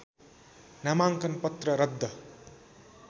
नामाङ्कन पत्र रद्द